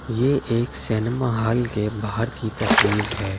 यह एक cinema hall के बाहर की तस्वीर है।